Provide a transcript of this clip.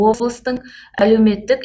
облыстың әлеуметтік